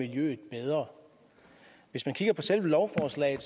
det her lovforslag i